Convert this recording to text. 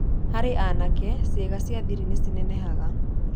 Harĩ anake, ciĩga cia thiri nĩ cinenehaga.